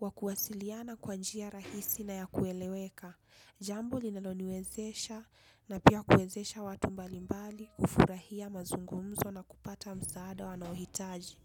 wakuwasiliana kwanjia rahisi na ya kueleweka. Jambo linaloniwezesha na pia kuezesha watu mbalimbali ufurahia mazungumzo na kupata msaada wanaohitaji.